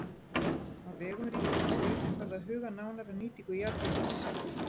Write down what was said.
Á vegum ríkisins var einnig farið að huga nánar að nýtingu jarðhitans.